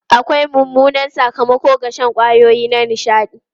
Akwai mummunan sakamako ga shan kwayoyi na nishaɗi.